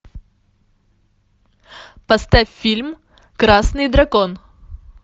поставь фильм красный дракон